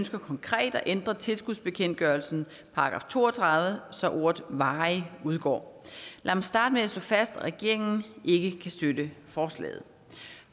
ønsker konkret at ændre tilskudsbekendtgørelsens § to og tredive så ordet varig udgår lad mig starte med at slå fast at regeringen ikke kan støtte forslaget